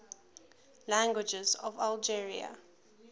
languages of algeria